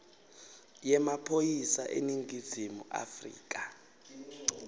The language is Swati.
yemaphoyisa eningizimu afrika